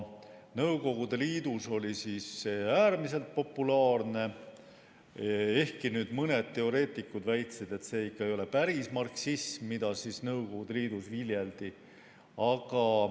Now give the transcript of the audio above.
Nõukogude Liidus oli see äärmiselt populaarne, ehkki mõned teoreetikud väitsid, et see ikka ei ole päris marksism, mida Nõukogude Liidus viljeldi.